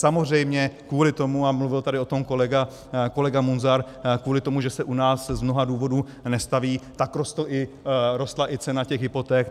Samozřejmě kvůli tomu, a mluvil tady o tom kolega Munzar, kvůli tomu, že se u nás z mnoha důvodů nestaví, tak rostla i cena těch hypoték.